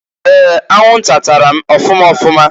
Ee! Anwụnta tara m ọfụma ọfụma.